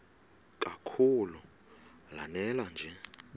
kakhulu lanela nje